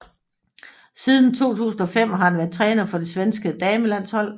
Siden 2005 har han været træner for det svenske damelandshold